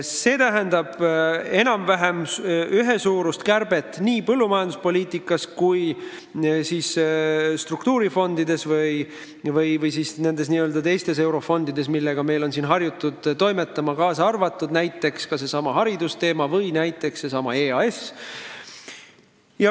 See tähendab enam-vähem ühesuurust kärbet nii põllumajanduse kui ka teistest eurofondidest, millega meil on harjutud toimetama, kaasa arvatud näiteks hariduse valdkond või EAS.